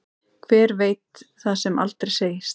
Hver veit það sem aldrei segist.